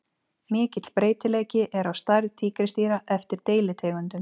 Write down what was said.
Mikill breytileiki er á stærð tígrisdýra eftir deilitegundum.